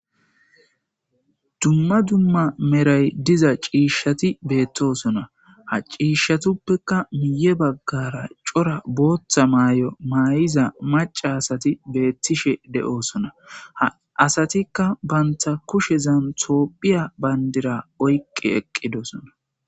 Dumma dumma meray diza ciishshati beettosona ha ciishshatuppekka miye baggara cora booththa maay7o maay7iza maca asati beettishe de7oosona ha asatikka banta kushe zantoophiya bandira oyqqi eqqidosona.